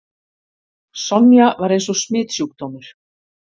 Sonja var eins og smitsjúkdómur.